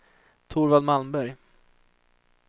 Torvald Malmberg